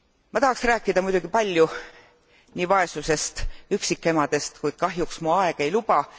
Ma tahaks rääkida muidugi palju nii vaesusest kui ka üksikemadest, kuid kahjuks mu aeg ei luba.